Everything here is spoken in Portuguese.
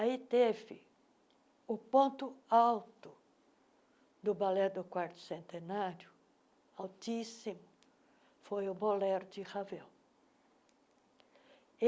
Aí teve o ponto alto do balé do quarto centenário, altíssimo, foi o Bolero de Ravel.